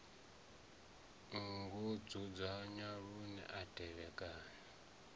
ngo dzudzanywa lune a tevhekana